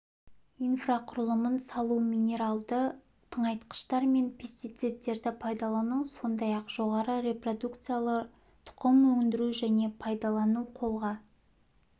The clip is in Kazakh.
инфрақұрылымын салу минералды тыңайтқыштар мен пестицидтерді пайдалану сондай-ақ жоғары репродукциялы тұқым өндіру және пайдалану қолға